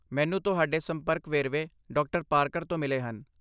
ਮੈਨੂੰ ਤੁਹਾਡੇ ਸੰਪਰਕ ਵੇਰਵੇ ਡਾ. ਪਾਰਕਰ ਤੋਂ ਮਿਲੇ ਹਨ।